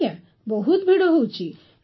ହଁ ଆଜ୍ଞା ବହୁତ ଭିଡ଼ ହେଉଛି